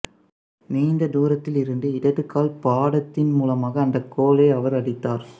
நீண்ட தூரத்தில் இருந்து இடது கால் பாதத்தின் மூலமாக அந்த கோலை அவர் அடித்தார்